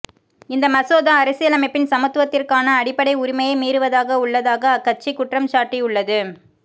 இந்த மசோதா அரசியலமைப்பின் சமத்துவத்திற்கான அடிப்படை உரிமையை மீறுவதாக உள்ளதாக அக்கட்சி குற்றம் சாட்டியுள்ளது